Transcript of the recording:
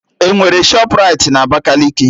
Enwere Shọpraịti na Abakaliki?